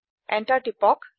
enter টিপক